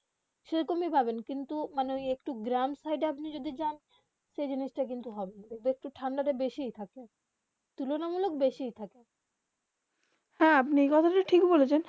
সেই রকম পাবেন কিন্তু মানে একটু গরম সাইড যদি আপনি যান সেই দিকে তা একটু ঠান্ডা তা বেশি থাকবে তুল্যমূল্য বেশি থাকে হেঁ আপনি এই কথা তা ঠিক হয় বলেছেন